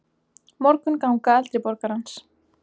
Morgunganga eldri borgarans.